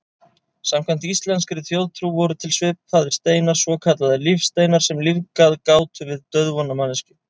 Samkvæmt íslenskri þjóðtrú voru til svipaðir steinar, svokallaðir lífsteinar, sem lífgað gátu við dauðvona manneskjur.